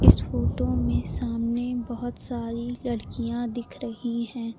इस फोटो में सामने बहोत सारी लड़कियां दिख रही हैं।